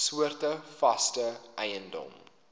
soorte vaste eiendom